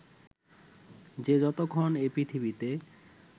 যে যতক্ষণ এই পৃথিবীতে